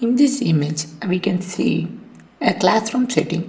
this image uh we can see a classroom setting.